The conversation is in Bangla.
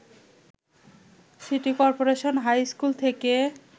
সিটি কর্পোরেশন হাই স্কুল থেকে